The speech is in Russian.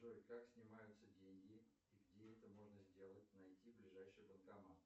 джой как снимаются деньги и где это можно сделать найти ближайший банкомат